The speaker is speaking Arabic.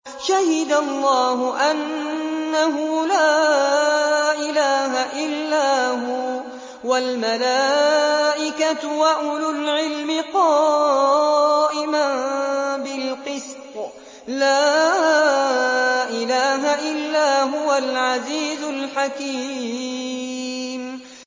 شَهِدَ اللَّهُ أَنَّهُ لَا إِلَٰهَ إِلَّا هُوَ وَالْمَلَائِكَةُ وَأُولُو الْعِلْمِ قَائِمًا بِالْقِسْطِ ۚ لَا إِلَٰهَ إِلَّا هُوَ الْعَزِيزُ الْحَكِيمُ